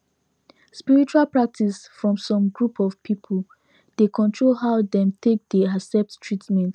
spiritual practice from some group of people dey control how dem take dey accept treatment